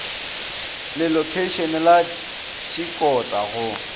le lokheišene la tshikota go